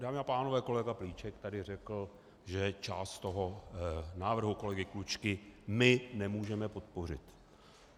Dámy a pánové, kolega Plíšek tady řekl, že část toho návrhu kolegy Klučky my nemůžeme podpořit.